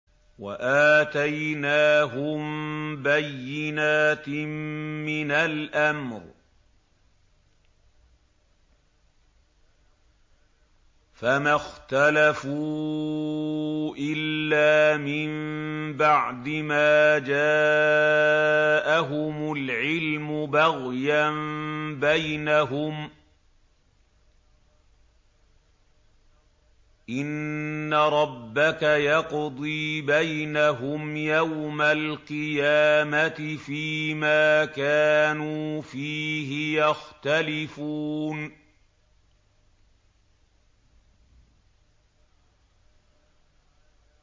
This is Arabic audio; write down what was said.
وَآتَيْنَاهُم بَيِّنَاتٍ مِّنَ الْأَمْرِ ۖ فَمَا اخْتَلَفُوا إِلَّا مِن بَعْدِ مَا جَاءَهُمُ الْعِلْمُ بَغْيًا بَيْنَهُمْ ۚ إِنَّ رَبَّكَ يَقْضِي بَيْنَهُمْ يَوْمَ الْقِيَامَةِ فِيمَا كَانُوا فِيهِ يَخْتَلِفُونَ